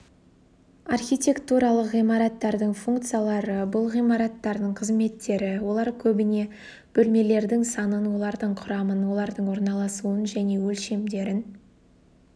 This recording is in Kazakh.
архитектуралық ғимараттардың функциялары бұл ғимараттардың қызметтері олар көбіне бөлмелердің санын олардың құрамын олардың орналасуын және өлшемдерін